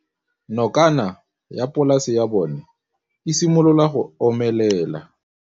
Nokana ya polase ya bona, e simolola go omelela.